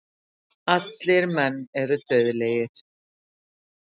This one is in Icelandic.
Allir menn eru dauðlegir.